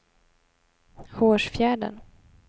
Hårsfjärden